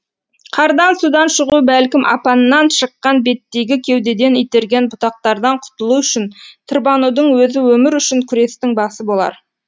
қардан судан шығу бәлкім апаннан шыққан беттегі кеудеден итерген бұтақтардан құтылу үшін тырбанудың өзі өмір үшін күрестің басы болар